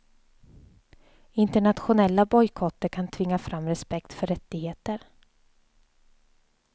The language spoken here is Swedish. Internationella bojkotter kan tvinga fram respekt för rättigheter.